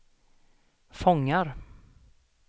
fångar